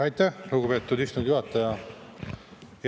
Aitäh, lugupeetud istungi juhataja!